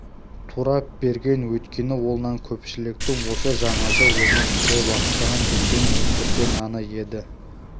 турап берген өйткені ол нан көпшіліктің осы жаңаша өмір сүре бастаған елдің өндірген наны еді